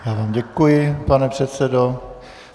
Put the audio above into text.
Já vám děkuji, pane předsedo.